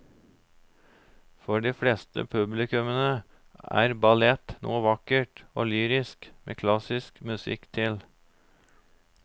For de fleste publikummere er ballett noe vakkert og lyrisk med klassisk musikk til.